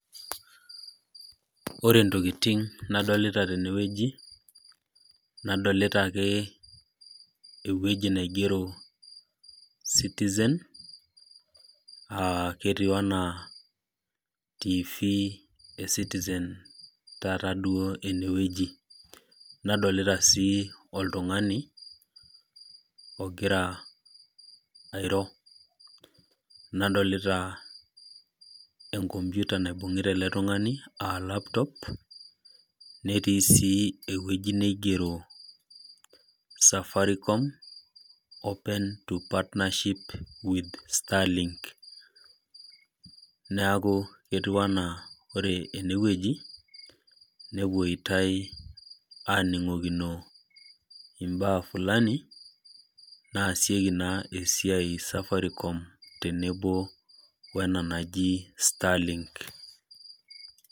Ore intokiting nadolita tenewueji, nadolita ake ewueji naigero citizen, ketiu enaa Tv e citizen taata duo enewueji. Nadolita si oltung'ani, ogira airo. Nadolita enkompiuta naibung'ita ele tung'ani, ah laptop, netii si ewueji neigero Safaricom open to partnership with Starlink. Naku etiu enaa ore enewueji, nepoitai aning'okino imbaa fulani, naasieki naa esiai Safaricom tenebo wena naji Starlink.